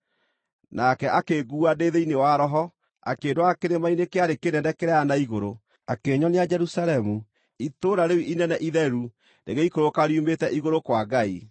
Nake akĩnguua ndĩ thĩinĩ wa Roho, akĩndwara kĩrĩma-inĩ kĩarĩ kĩnene kĩraaya na igũrũ, akĩnyonia Jerusalemu, Itũũra rĩu inene Itheru rĩgĩikũrũka riumĩte igũrũ kwa Ngai.